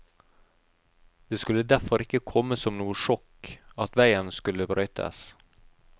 Det skulle derfor ikke komme som noe sjokk at veien skulle brøytes.